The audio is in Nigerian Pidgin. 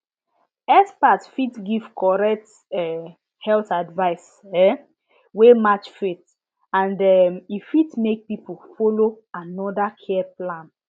experts fit give correct um health advice um wey match faith and um e fit make people follow another care plan